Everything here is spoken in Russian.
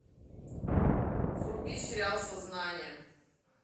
вруби сериал сознание